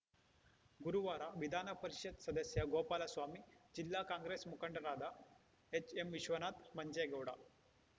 ಗುರುವಾರ ವಿಧಾನಪರಿಷತ್‌ ಸದಸ್ಯ ಗೋಪಾಲಸ್ವಾಮಿ ಜಿಲ್ಲಾ ಕಾಂಗ್ರೆಸ್‌ ಮುಖಂಡರಾದ ಎಚ್‌ಎಂವಿಶ್ವನಾಥ್‌ ಮಂಜೇಗೌಡ